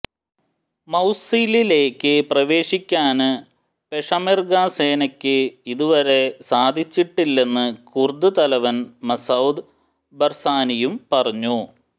മൌസിലിലേക്ക് പ്രവേശിക്കാന് പെഷമെര്ഗ സേനയക്ക് ഇത് വരെ സാധിച്ചിട്ടില്ലെന്ന് കുര്ദ് തലവന് മസൌദ് ബര്സാനിയും പറഞ്ഞു